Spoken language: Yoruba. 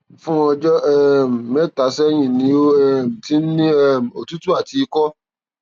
fún ọjọ um mẹtà sẹyìn ni ó um ti ń ní um òtútù àti ikọ